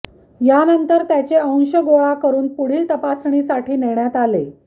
यानंतर त्याचे अंश गोळा करुन पुढील तपासणीसाठी नेण्यात आले